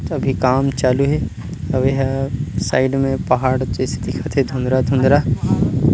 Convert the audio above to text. अभी काम चालू हे आऊ ये ह साइड में पहाड़ जइसे दिखत हे धुंधला-धुंधला--